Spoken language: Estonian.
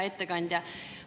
Hea ettekandja!